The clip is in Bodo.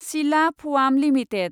सिला फआम लिमिटेड